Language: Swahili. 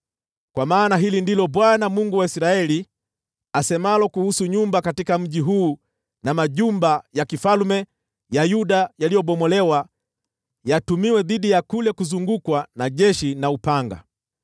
Kwa maana hili ndilo Bwana , Mungu wa Israeli, asemalo kuhusu nyumba katika mji huu na majumba ya kifalme ya Yuda yaliyobomolewa ili yatumiwe dhidi ya kule kuzungukwa na jeshi na upanga